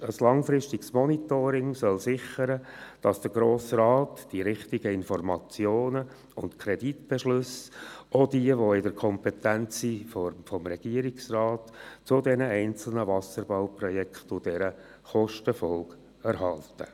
Ein langfristiges Monitoring soll sichern, dass der Grosse Rat die richtigen Informationen und Kreditbeschlüsse – auch jene, die in der Kompetenz des Regierungsrates liegen – zu den einzelnen Wasserbauprojekten und deren Kostenfolgen erhält.